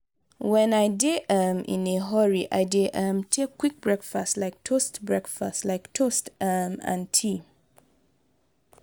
when i dey um in a hurry i dey um take quick breakfast like toast breakfast like toast um and tea.